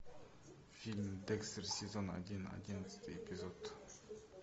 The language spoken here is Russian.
фильм декстер сезон один одиннадцатый эпизод